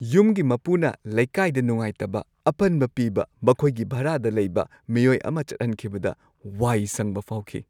ꯌꯨꯝꯒꯤ ꯃꯄꯨꯅ ꯂꯩꯀꯥꯏꯗ ꯅꯨꯡꯉꯥꯢꯇꯕ ꯑꯄꯟꯕ ꯄꯤꯕ ꯃꯈꯣꯏꯒꯤ ꯚꯔꯥꯗ ꯂꯩꯕ ꯃꯤꯑꯣꯏ ꯑꯃ ꯆꯠꯍꯟꯈꯤꯕꯗ ꯋꯥꯏ ꯁꯪꯕ ꯐꯥꯎꯈꯤ ꯫